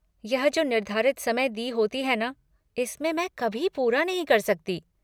यह जो निर्धारित समय दी होती है ना इसमें मैं कभी पूरा नहीं कर सकती।